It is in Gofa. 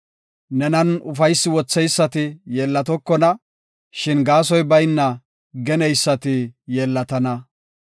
Nenan ufaysi ootheysati yeellatokona; shin gaasoy bayna geneysati yeellatana.